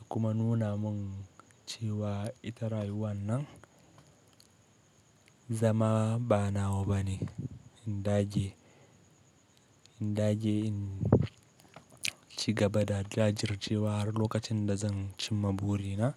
ya kuma nuna mun cewa ita rayuwa nan zama ba na wa bane. In dage, in dage in ci gaba da jajircewa har lokacin da zan cimma burina.